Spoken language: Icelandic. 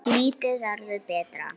Lífið verður betra